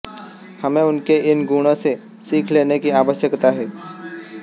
हमें उनके इन गुणों से सीख लेने की आवश्यकता है